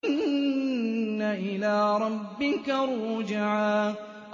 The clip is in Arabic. إِنَّ إِلَىٰ رَبِّكَ الرُّجْعَىٰ